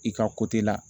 I ka la